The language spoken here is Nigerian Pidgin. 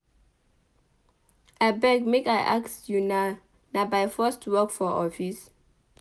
Abeg make I ask una na by force to work for office?